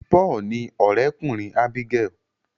Paul ní òré kùnrin Abigael.